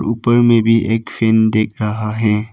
ऊपर में भी एक फैन दिख रहा है।